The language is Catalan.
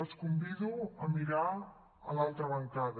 els convido a mirar a l’altra bancada